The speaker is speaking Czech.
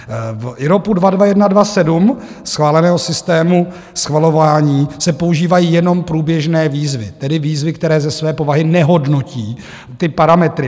V IROPu 22127 schváleného systému schvalování se používají jenom průběžné výzvy, tedy výzvy, které ze své povahy nehodnotí ty parametry.